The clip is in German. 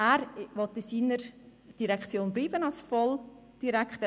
Er will in seiner Direktion bleiben als VOL-Direktor.